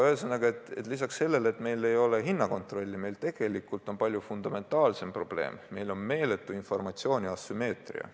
Ühesõnaga, lisaks sellele, et meil ei ole hinnakontrolli, on meil tegelikult palju fundamentaalsem probleem: meil on meeletu informatsiooni asümmeetria.